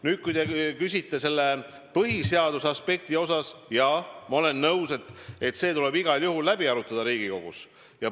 Nüüd, kui te küsite põhiseadusele vastavuse kohta, siis ma olen nõus, et see tuleb igal juhul Riigikogus läbi arutada.